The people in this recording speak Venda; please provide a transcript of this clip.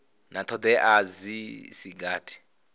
na thodea dzi si gathi